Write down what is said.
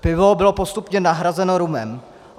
Pivo bylo postupně nahrazeno rumem.